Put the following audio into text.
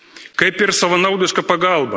Kaip ir savanaudiška pagalba.